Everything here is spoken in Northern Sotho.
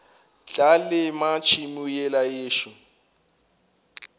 tla lema tšhemo yela yešo